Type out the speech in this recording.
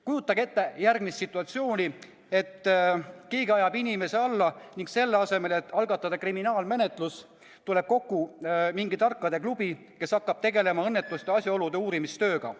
Kujutage ette järgmist situatsiooni, et keegi ajab inimese alla, aga selle asemel, et algatataks kriminaalmenetlus, tuleb kokku mingi tarkade klubi, kes hakkab tegelema õnnetuse asjaolude uurimistööga.